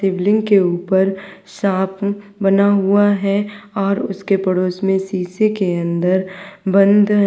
शिवलिंग के ऊपर सांप बना हुआ है और उसके पड़ोस में शीशा के अंदर बंद है।